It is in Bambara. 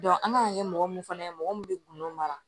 an kan ka kɛ mɔgɔ mun fana ye mɔgɔ min bɛ gundo mara